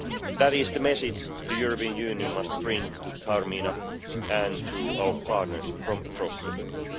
That is the message the European Union must bring to Taormina and to our partners from across the world.